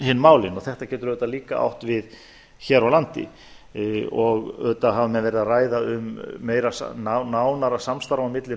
hin málin þetta getur líka átt við hér á landi auðvitað hafa menn verið að ræða um nánara samstarf á milli